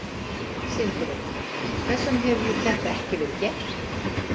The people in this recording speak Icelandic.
Sindri: Hvers vegna hefur þetta ekki verið gert?